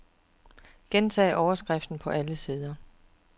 Gentag overskriften på alle sider.